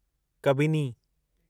Kabini